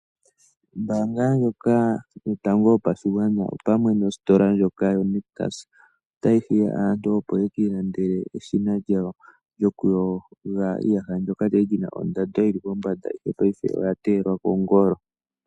Ombaanga ndjoka yotango yopashigwana, opamwe nositola ndyoka yoNictus, otayi hiya aantu opo yekiilandele eshina lyawo lyokuyoga iiyaha, ndyoka lya li lyina ondando yi li pombanda, paife oya teyelwa kongolo.